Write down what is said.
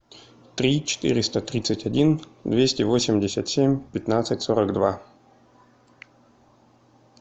три четыреста тридцать один двести восемьдесят семь пятнадцать сорок два